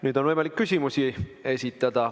Nüüd on võimalik küsimusi esitada.